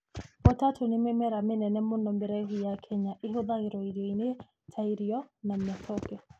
Potato nĩ mĩmera mĩnene mũno mĩraihu ya Kenya na ĩhũthagĩrwo irioinĩ ta irio na matoke.